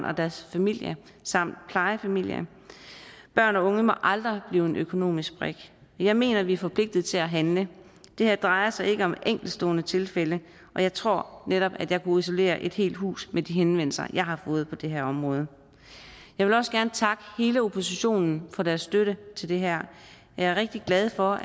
og deres familie samt plejefamilie børn og unge må aldrig blive en økonomisk brik men jeg mener vi er forpligtet til at handle det her drejer sig ikke om enkeltstående tilfælde og jeg tror netop at jeg kunne isolere et helt hus med de henvendelser jeg har fået på det her område jeg vil også gerne takke hele oppositionen for deres støtte til det her jeg er rigtig glad for